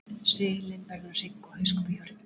Seilin verður að hrygg og hauskúpu hjá hryggdýrum.